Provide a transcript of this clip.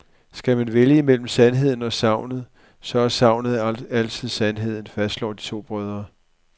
Skal man vælge mellem sandheden og sagnet, så er sagnet altid sandheden, fastslår de to brødre.